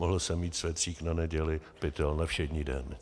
Mohl jsem mít svetřík na neděli, pytel na všední den.